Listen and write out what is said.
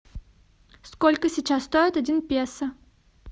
сколько сейчас стоит один песо